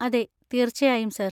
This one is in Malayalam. അതെ, തീർച്ചയായും, സർ.